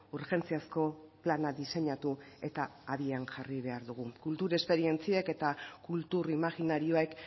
urgentziazko plana diseinatu eta abian jarri behar dugu kultur esperientziek eta kultur imajinarioek